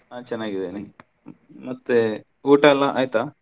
ನಾನ್ ಚನ್ನಾಗಿದ್ದೇನೆ ಮತ್ತೆ ಊಟಾ ಎಲ್ಲಾ ಆಯ್ತಾ?